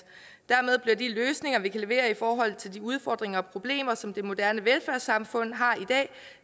dermed bliver de løsninger vi kan levere i forhold til de udfordringer og problemer som det moderne velfærdssamfund har i dag